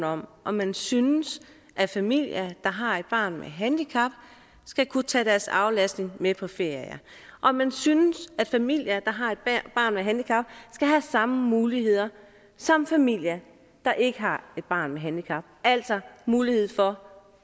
om om man synes at familier der har et barn med handicap skal kunne tage deres aflastning med på ferie om man synes at familier der har et barn med handicap skal have samme muligheder som familier der ikke har et barn med handicap altså mulighed for